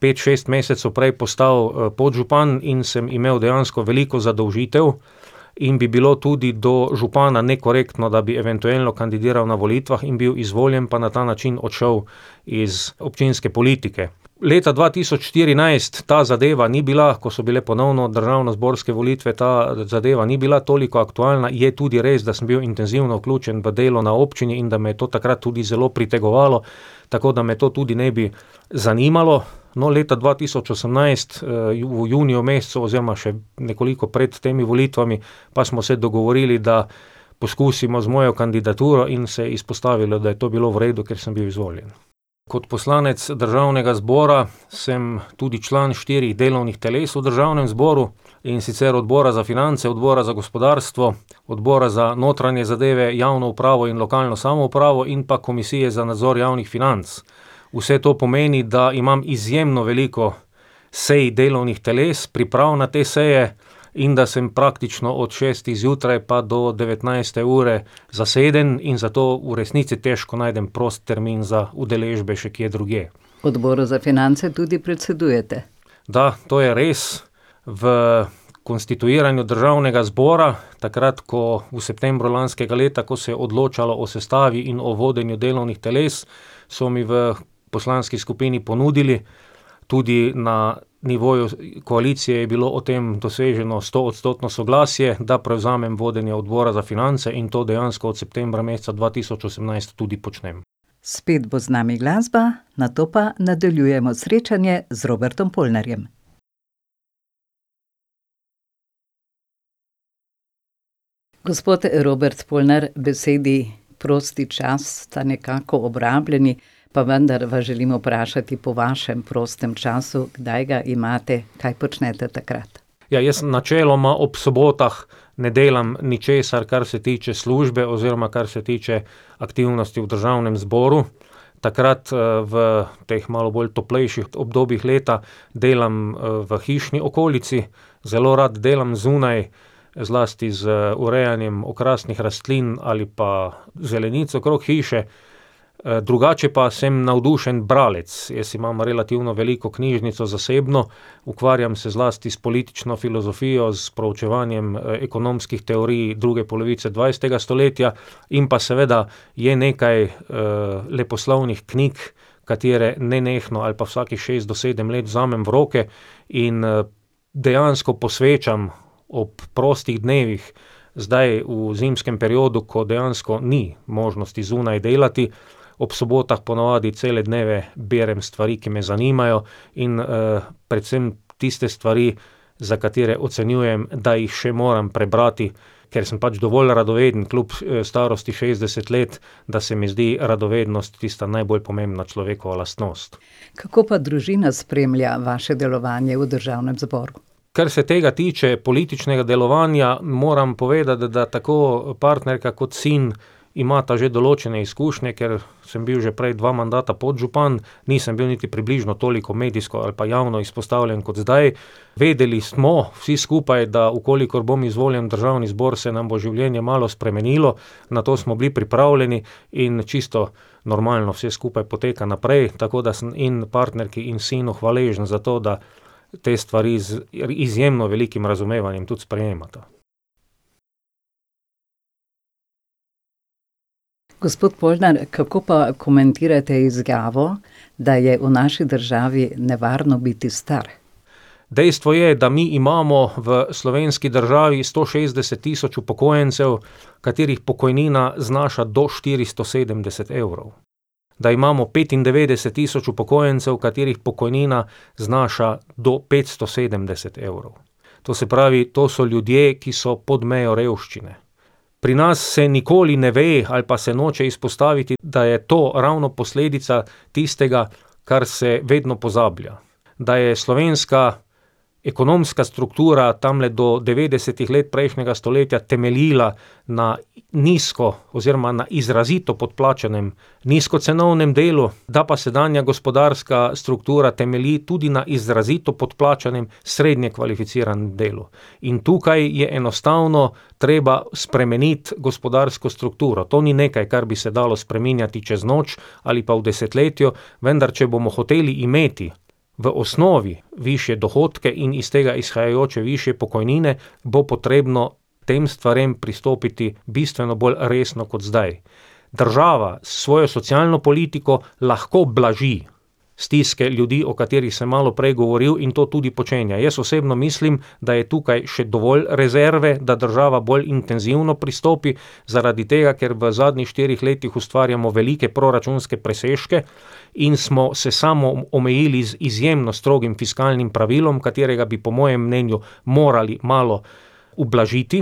pet, šest mesecev prej postal, podžupan in sem imel dejansko veliko zadolžitev in bi bilo tudi do župana nekorektno, da bi eventuelno kandidiral na volitvah in bil izvoljen pa na ta način odšel iz občinske politike. Leta dva tisoč štirinajst ta zadeva ni bila, ko so bile ponovno državnozborske volitve, ta zadeva ni bila toliko aktualna, je tudi res, da sem bil intenzivno vključen v delo na občini in da me je to takrat tudi zelo pritegovalo. Tako da me to tudi ne bi zanimalo. No, leta dva tisoč osemnajst, v juniju mesecu oziroma še nekoliko pred temi volitvami pa smo se dogovorili, da poskusimo z mojo kandidaturo, in se je izpostavilo, da je to bilo v redu, ker sem bil izvoljen. Kot poslanec državnega zbora sem tudi član štirih delovnih teles v državnem zboru, in sicer Odbora za finance, Odbora za gospodarstvo, Odbora za notranje zadeve, javno upravo in lokalno samoupravo in pa Komisije za nadzor javnih financ. Vse to pomeni, da imam izjemno veliko sej delovnih teles, priprav na te seje in da sem praktično od šestih zjutraj pa do devetnajste ure zaseden in zato v resnici težko najdem prost termin za udeležbe še kje drugje. V Odboru za finance tudi predsedujete. Da, to je res. V konstituiranju državnega zbora, takrat ko, v septembru lanskega leta, ko se je odločalo o sestavi in o vodenju delovnih teles, so mi v poslanski skupini ponudili, tudi na nivoju koalicije je bilo o tem doseženo stoodstotno soglasje, da prevzamem vodenje Odbora za finance, in to dejansko od septembra meseca dva tisoč osemnajst tudi počnem. Spet bo z nami glasba, nato pa nadaljujemo srečanje z Robertom Polnarjem. Gospod Robert Polnar, besedi prosti čas sta nekako obrabljeni, pa vendar vas želim vprašati po vašem prostem času, kdaj ga imate, kaj počnete takrat? Ja, jaz sem načeloma ob sobotah, ne delam ničesar, kar se tiče službe oziroma kar se tiče aktivnosti v državnem zboru. Takrat, v, v teh malo bolj toplejših obdobjih leta delam v hišni okolici, zelo rad delam zunaj, zlasti z urejanjem okrasnih rastlin ali pa zelenic okrog hiše. drugače pa sem navdušen bralec, jaz imam relativno veliko knjižnico zasebno, ukvarjam se zlasti s politično filozofijo, s proučevanjem, ekonomskih teorij druge polovice dvajsetega stoletja in pa seveda je nekaj, leposlovnih knjig, katere nenehno ali pa vsakih šest do sedem let vzamem v roke, in, dejansko posvečam ob prostih dnevih, zdaj v zimskem periodu, ko dejansko ni možnosti zunaj delati, ob sobotah ponavadi cele dneve berem stvari, ki me zanimajo, in, predvsem tiste stvari, za katere ocenjujem, da jih še moram prebrati, ker sem pač dovolj radoveden kljub, starosti šestdeset let, da se mi zdi radovednost tista najbolj pomembna človekova lastnost. Kako pa družina spremlja vaše delovanje v državnem zboru? Kar se tega tiče, političnega delovanja, moram povedati, da tako partnerka kot sin imata že določene izkušnje, ker sem bil že prej dva mandata podžupan. Nisem bil niti približno toliko medijsko ali pa javno izpostavljen kot zdaj, vedeli smo, vsi skupaj, da v kolikor bom izvoljen v državni zbor, se nam bo življenje malo spremenilo, na to smo bili pripravljeni in čisto normalno vse skupaj poteka naprej, tako da sem in partnerki in sinu hvaležen za to, da te stvari z izjemno velikim razumevanjem tudi sprejemata. Gospod Polnar, kako pa komentirate izjavo, da je v naši državi nevarno biti star? Dejstvo je, da mi imamo v slovenski državi sto šestdeset tisoč upokojencev, katerih pokojnina znaša do štiristo sedemdeset evrov. Da imamo petindevetdeset tisoč upokojencev, katerih pokojnina znaša do petsto sedemdeset evrov. To se pravi, to so ljudje, ki so pod mejo revščine. Pri nas se nikoli ne ve ali pa se noče izpostaviti, da je to ravno posledica tistega, kar se vedno pozablja. Da je slovenska ekonomska struktura tamle do devetdesetih let prejšnjega stoletja temeljila na nizko oziroma na izrazito podplačanem nizkocenovnem delu, da pa sedanja gospodarska struktura temelji tudi na izrazito podplačanem srednje kvalificiranem delu. In tukaj je enostavno treba spremeniti gospodarsko strukturo, to ni nekaj, kar bi se dalo spreminjati čez noč ali pa v desetletju, vendar če bomo hoteli imeti v osnovi višje dohodke in iz tega izhajajoče višje pokojnine, bo potrebno k tem stvarem pristopiti bistveno bolj resno kot zdaj. Država s svojo socialno politiko lahko blaži stiske ljudi, o katerih sem malo prej govoril, in to tudi počenja, jaz osebno mislim, da je tukaj še dovolj rezerve, da država bolj intenzivno pristopi, zaradi tega ker v zadnjih štirih letih ustvarjamo velike proračunske presežke in smo se samoomejili z izjemno strogim fiskalnim pravilom, katerega bi po mojem mnenju morali malo ublažiti,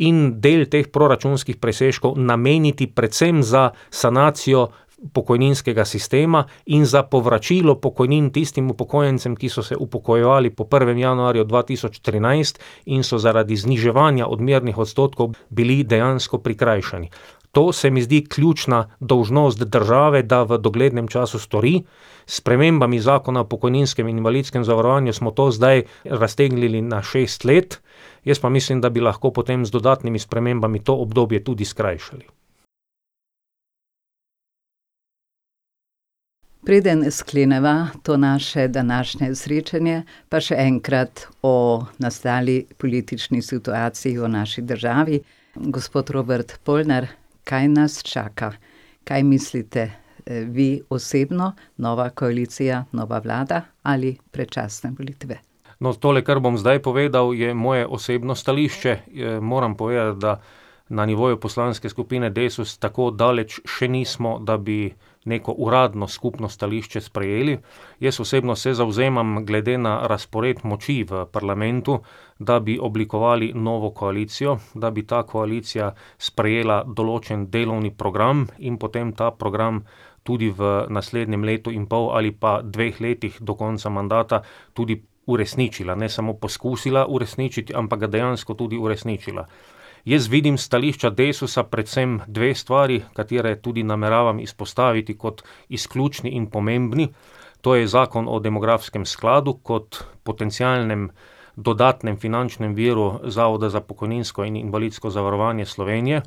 in del teh proračunskih presežkov nameniti predvsem za sanacijo pokojninskega sistema, in za povračilo pokojnin tistim upokojencem, ki so se upokojevali po prvem januarju dva tisoč trinajst in so zaradi zniževanja odmernih odstotkov bili dejansko prikrajšani. To se mi zdi ključna dolžnost, da države, da v doglednem času stori. S spremembami Zakona o pokojninskem in invalidskem zavarovanju smo to zdaj raztegnili na šest let, jaz pa mislim, da bi lahko potem z dodatnimi spremembami to obdobje tudi skrajšali. Preden skleneva to naše današnje srečanje, pa še enkrat o nastali politični situaciji v naši državi. Gospod Robert Polnar, kaj nas čaka? Kaj mislite, vi osebno: nova koalicija, nova vlada ali predčasne volitve? No, tole, kar bom zdaj povedal, je moje osebno stališče. moram povedati, da na nivoju poslanske skupine Desus tako daleč še nismo, da bi neko uradno skupno stališče sprejeli. Jaz osebno se zavzemam, glede na razpored moči v parlamentu, da bi oblikovali novo koalicijo, da bi ta koalicija sprejela določen delovni program in potem ta program tudi v naslednjem letu in pol ali pa dveh letih, do konca mandata, tudi uresničila, ne samo poskusila uresničiti, ampak ga dejansko tudi uresničila. Jaz vidim s stališča Desusa predvsem dve stvari, kateri tudi nameravam izpostaviti kot izključni in pomembni. To je zakon o demografskem skladu kot potencialnem dodatnem finančnem viru Zavoda za pokojninsko in invalidsko zavarovanje Slovenije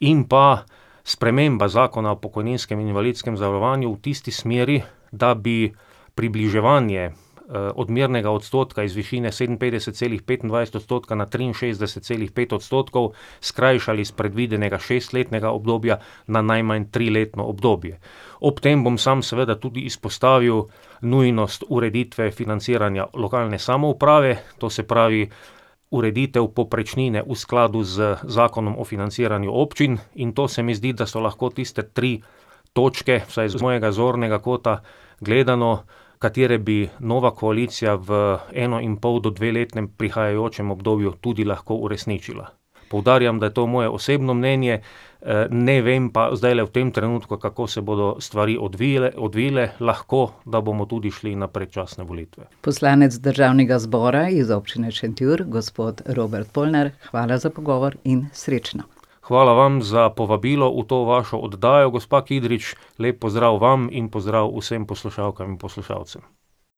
in pa sprememba Zakona o pokojninskem in invalidskem zavarovanju v tisti smeri, da bi približevanje, odmernega odstotka iz višine sedeminpetdeset, celih petindvajset odstotka na triinšestdeset, celih pet odstotkov skrajšali s predvidenega šestletnega obdobja na najmanj triletno obdobje. Ob tem bom sam seveda tudi izpostavil nujnost ureditve financiranja lokalne samouprave, to se pravi ureditev povprečnine v skladu z Zakonom o financiranju občin, in to se mi zdi, da so lahko tiste tri točke, vsaj z mojega zornega kota gledano, katere bi nova koalicija v enoinpol- do dvoletnem prihajajočem obdobju tudi lahko uresničila. Poudarjam, da je to moje osebno mnenje, ne vem pa zdajle v tem trenutku, kako se bodo stvari odvile, lahko da bomo tudi šli na predčasne volitve. Poslanec državnega zbora iz Občine Šentjur, gospod Robert Polnar, hvala za pogovor in srečno. Hvala vam za povabilo v to vašo oddajo, gospa Kidrič, lep pozdrav vam in pozdrav vsem poslušalkam in poslušalcem.